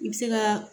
I bɛ se ka